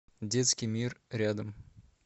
детский мир рядом